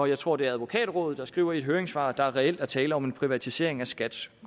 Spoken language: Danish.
jeg tror det er advokatrådet der skriver i et høringssvar at der reelt er tale om en privatisering af skats